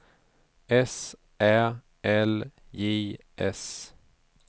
S Ä L J S